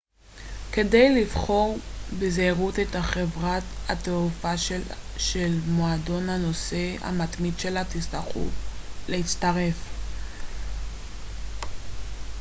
כדאי לבחור בזהירות את חברת התעופה שלמועדון הנוסע המתמיד שלה תרצו להצטרף